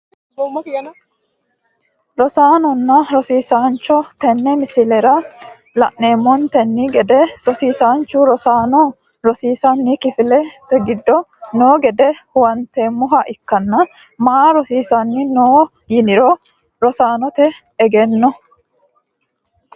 Rosaanonna rosiaisncho tene misilera laneemonteni gede rosiisanchu rosaano rosiisani kifilete giddo noo gede huwanteemoha ikkana maa rosisani no yiniro rosanote egeno.